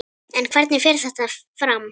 En hvernig fer þetta fram?